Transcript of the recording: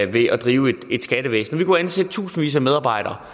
ved at drive et skattevæsen vi kunne ansætte tusindvis af medarbejdere